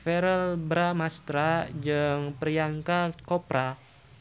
Verrell Bramastra jeung Priyanka Chopra